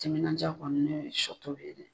Timinanjaa kɔni ye shɔtobi ye dɛ.